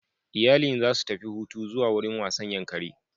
Iyalin za su tafi hutu zuwa wurin wasan Yankari